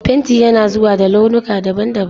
Fenti yana zuwa da launuka daban-daban.